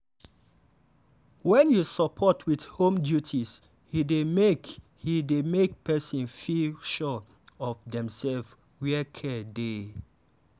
wen you support with home duties e dey make e dey make person feel sure of demself where care dey.